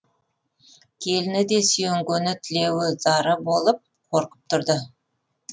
келіні де сүйенгені тілеуі зары болып қорқып тұрды